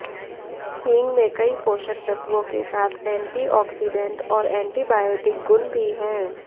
हींग में कई पोषक तत्वों के साथ एंटी आक्सीडेंट और एंटीबायोटिक गुण भी हैं